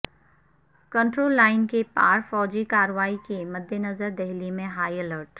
control line کے پار فوجی کارروائی کے مدنظر دہلی میں ہائی الرٹ